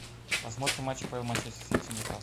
посмотрим матч апл манчестер сити ньюкасл